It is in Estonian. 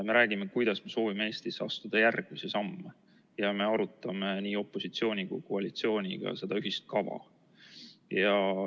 Me räägime, kuidas me soovime Eestis astuda järgmisi samme, ja me arutame nii opositsiooni kui ka koalitsiooniga seda ühist kava.